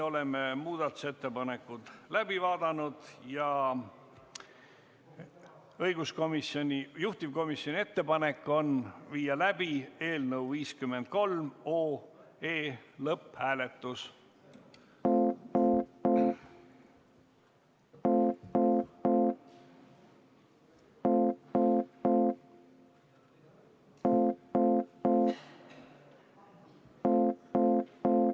Oleme muudatusettepanekud läbi vaadanud ja juhtivkomisjoni ettepanek on viia läbi eelnõu 53 lõpphääletus.